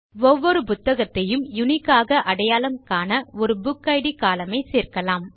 ஒவ்வொரு புத்தகத்தையும் uniqueஆக அடையாளம் காண ஒரு புக்கிட் கோலம்ன் ஐ சேர்க்கலாம்